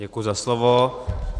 Děkuji za slovo.